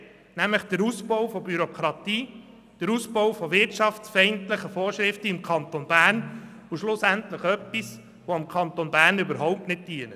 Sie bauen die Bürokratie aus und schaffen wirtschaftsfeindliche Vorschriften im Kanton Bern und tun etwas, das dem Kanton Bern am Ende überhaupt nicht dient.